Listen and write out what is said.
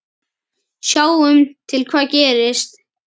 Sjáum til hvað gerist